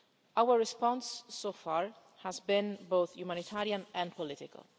Our response so far has been both humanitarian and political.